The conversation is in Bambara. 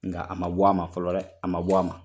Nka a ma bɔ a ma fɔlɔ dɛ, a ma bɔ a ma.